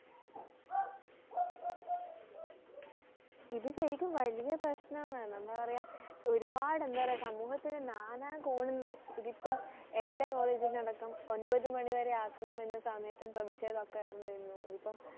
ഇത് ശരിക്കും വലിയ പ്രശ്നമാണ് എന്താ പറയ ഒരുപാട് എന്താ പറയ സമൂഹത്തിൻ്റെ നാനാകോണിന്ന് ഇതിപ്പം എൻ്റെ college നിന്നും അടക്കം ഒൻപത് മണിവരെ ആക്കണമെന്ന് സമയത്തു പ്രധിഷേധം ഉയർന്നിരുന്നു ഇതിപ്പം